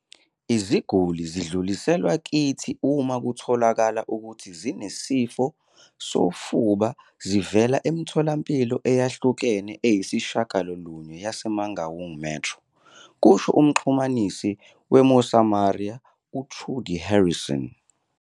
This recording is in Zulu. "Iziguli zidluliselwa kithi uma kutholakale ukuthi zinesifo sofuba zivela emitholampilo eyahlukene eyisishiyagalolunye yase-Mangaung Metro," kusho umxhumanisi we-Mosamaria, u-Trudie Harrison.